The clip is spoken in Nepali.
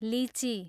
लिची